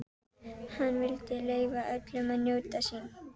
Hann vildi leyfa öllum að njóta sín.